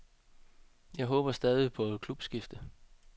Jeg håber stadig på et klubskifte.